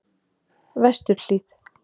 Vesturhlíð